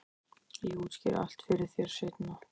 Ég útskýri allt fyrir þér seinna.